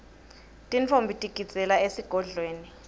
tintfombi tigidzela esigodlweni